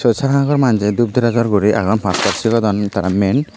tey sagor manjey dup drejor guri agon pastot sigodondi tara mein.